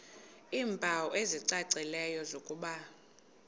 iimpawu ezicacileyo zokuba